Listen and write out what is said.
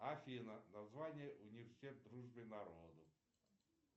афина название университет дружбы народов